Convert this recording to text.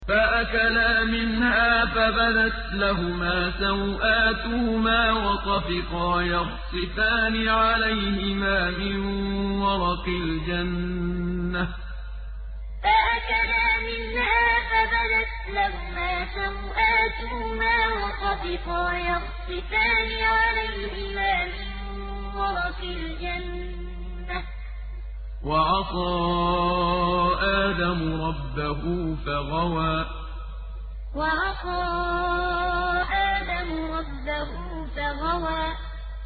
فَأَكَلَا مِنْهَا فَبَدَتْ لَهُمَا سَوْآتُهُمَا وَطَفِقَا يَخْصِفَانِ عَلَيْهِمَا مِن وَرَقِ الْجَنَّةِ ۚ وَعَصَىٰ آدَمُ رَبَّهُ فَغَوَىٰ فَأَكَلَا مِنْهَا فَبَدَتْ لَهُمَا سَوْآتُهُمَا وَطَفِقَا يَخْصِفَانِ عَلَيْهِمَا مِن وَرَقِ الْجَنَّةِ ۚ وَعَصَىٰ آدَمُ رَبَّهُ فَغَوَىٰ